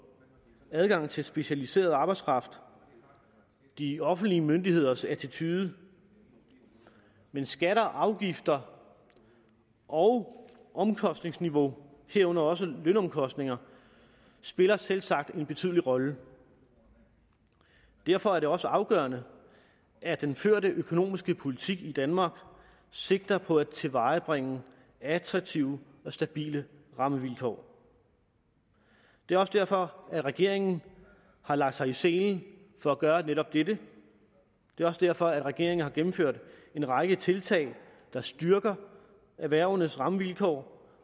adgang til specialiseret arbejdskraft og de offentlige myndigheders attitude men skatter afgifter og omkostningsniveau herunder også lønomkostninger spiller selvsagt en betydelig rolle derfor er det også afgørende at den førte økonomiske politik i danmark sigter på at tilvejebringe attraktive og stabile rammevilkår det er også derfor at regeringen har lagt sig i selen for at gøre netop dette det er også derfor at regeringen har gennemført en række tiltag der styrker erhvervenes rammevilkår